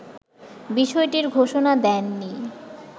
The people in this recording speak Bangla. বিষয়টির ঘোষণা দেননি